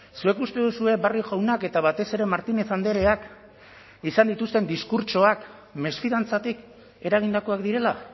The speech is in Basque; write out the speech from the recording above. zuek uste duzue barrio jaunak eta batez ere martínez andreak izan dituzten diskurtsoak mesfidantzatik eragindakoak direla